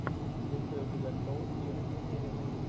есть ли у тебя шоу иры емелиной